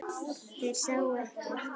Þeir sáu ekkert.